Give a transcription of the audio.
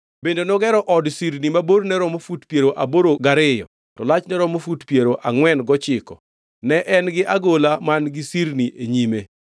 Bende nogero od sirni ma borne romo fut piero aboro gariyo to lachne romo fut piero angʼwen gochiko. Ne en gi agola man-gi sirni e nyime.